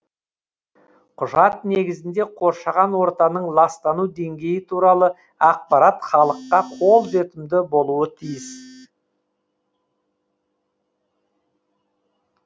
құжат негізінде қоршаған ортаның ластану деңгейі туралы ақпарат халыққа қолжетімді болуы тиіс